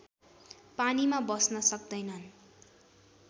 पानीमा बस्न सक्दैनन्